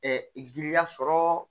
giriya sɔrɔ